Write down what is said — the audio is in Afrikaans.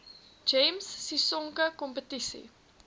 gems sisonke kompetisie